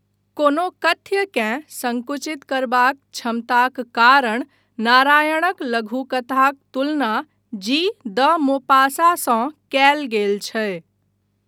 कोनो कथ्यकेँ संकुचित करबाक क्षमताक कारण नारायणक लघुकथाक तुलना जी द मोपासाँसँ कयल गेल छै।